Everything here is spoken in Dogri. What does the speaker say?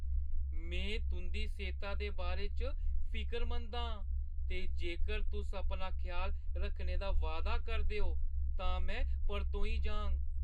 में तुंʼदी सेह्ता दे बारे च फिकरमंद आं ते जेकर तुस अपना ख्याल रक्खने दा वायदा करदे ओ तां में परतोई जाङ।